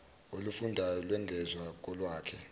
olufundwayo lwengezwa kolwakhe